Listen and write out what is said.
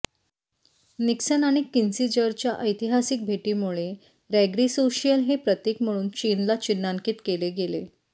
Nixon आणि किसिंजरच्या ऐतिहासिक भेटीमुळे रॅग्रेसोशियल हे प्रतीक म्हणून चीनला चिन्हांकित केले गेले